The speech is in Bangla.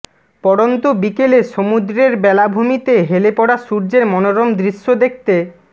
পড়ন্ত বিকেলে সমুদ্রের বেলাভূমিতে হেলে পড়া সূর্যের মনোরম দৃশ্য দেখতে